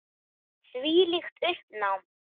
Þvílíkt uppnám.